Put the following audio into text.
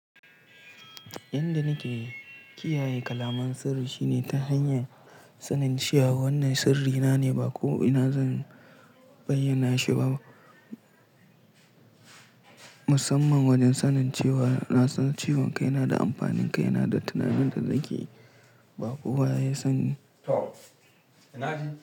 Yan da na ke kiyaye kalaman sirri shine ta hanyar sanin cewa wannan sirrina ne, ba ko ina zan bayyana shi ba. Musamman wajen sanin cewa nasan ciwon kai da amfanin kai na, da tunanin da na ke yi, ba kowa ya sa ni. Toh, na ji.